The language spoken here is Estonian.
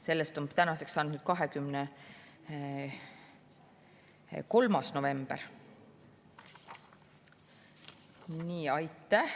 Sellest on tänaseks saanud 23. november.